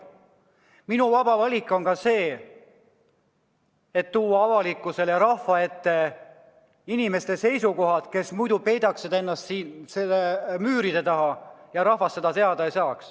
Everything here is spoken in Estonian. Minu vaba valik on ka see, et tuua avalikkuse ja rahva ette nende inimeste seisukohad, kes muidu peidaks ennast siin müüride taha ja rahvas neid teada ei saaks.